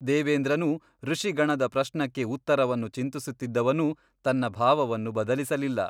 ದೇವೇಂದ್ರನೂ ಋಷಿಗಣದ ಪ್ರಶ್ನಕ್ಕೆ ಉತ್ತರವನ್ನು ಚಿಂತಿಸುತ್ತಿದ್ದವನು ತನ್ನ ಭಾವವನ್ನು ಬದಲಿಸಲಿಲ್ಲ.